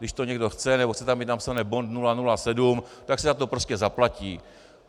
Když to někdo chce nebo chce tam mít napsané Bond 007, tak si za to prostě zaplatí.